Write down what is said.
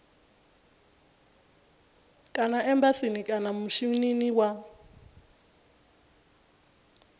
kana embasini kana mishinini wa